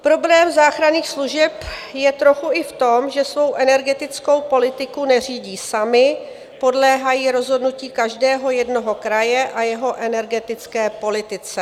Problém záchranných služeb je trochu i v tom, že svou energetickou politiku neřídí samy, podléhají rozhodnutí každého jednoho kraje a jeho energetické politice.